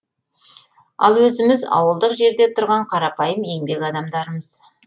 ал өзіміз ауылдық жерде тұрған қарапайым еңбек адамдарымыз